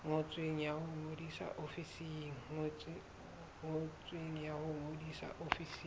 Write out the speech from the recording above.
ngotsweng ya ho ngodisa ofising